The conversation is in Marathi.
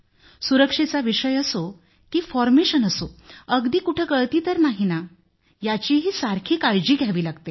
सुरक्षेचा विषय असो की फाॅर्मेशन असो अगदी कुठं गळती तर नाही ना याचीही सारखी काळजी घ्यावी लागते